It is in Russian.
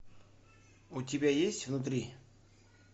у тебя есть внутри